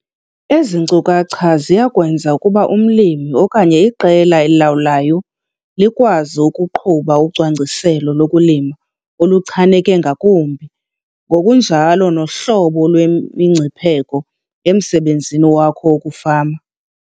Ezi nkcukacha ziya kwenza ukuba umlimi okanye iqela elilawulayo likwazi ukuqhuba ucwangciselo lokulima oluchaneke ngakumbi ngokunjalo nohlolo lwemingcipheko emsebenzini wakho wokufama.